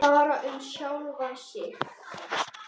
Bara um sjálfan sig.